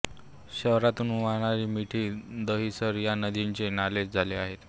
शहरातून वाहणाऱ्या मिठी दहिसर या नद्यांचे नालेच झाले आहेत